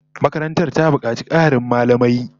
Makarantar ta bukaci Karin mallamai